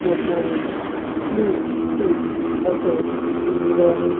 त्याच्यावर फ्लू सिट्स असं लिहिलेलं आहे.